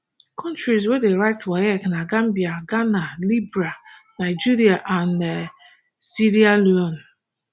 kontris wey dem write waec na gambia ghana liberia nigeria and um sierra leone